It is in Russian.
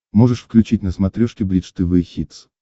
можешь включить на смотрешке бридж тв хитс